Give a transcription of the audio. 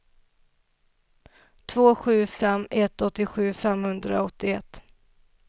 två sju fem ett åttiosju femhundraåttioett